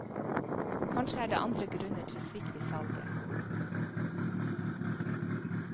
Kanskje er det andre grunner til svikt i salget.